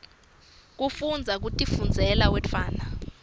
kufundza kutifundzela uwedwana